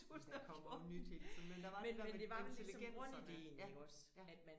Der kommer jo nyt hele tiden men der var det der med intelligenserne ja ja